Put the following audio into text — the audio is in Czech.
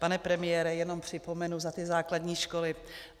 Pane premiére, jenom připomenu za ty základní školy.